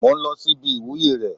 Mò ń lọ sí ibi ìwúyè rẹ̀